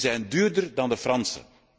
Die zijn duurder dan de Franse.